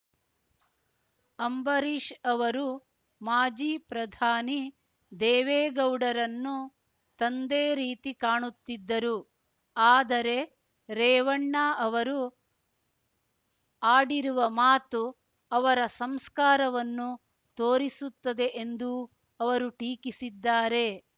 ಅಂಬರೀಷ್ ಅವರು ಮಾಜಿ ಪ್ರಧಾನಿ ದೇವೇಗೌಡರನ್ನು ತಂದೆ ರೀತಿ ಕಾಣುತ್ತಿದ್ದರು ಆದರೆ ರೇವಣ್ಣ ಅವರು ಆಡಿರುವ ಮಾತು ಅವರ ಸಂಸ್ಕಾರವನ್ನು ತೋರಿಸುತ್ತದೆ ಎಂದೂ ಅವರು ಟೀಕಿಸಿದ್ದಾರೆ